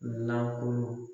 Nakulu